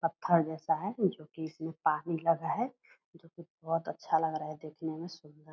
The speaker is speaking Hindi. पत्थर जैसा है जो कि इसमें पानी लगा है जो कि बहोत अच्छा लग रहा है देखने में सुन्दर --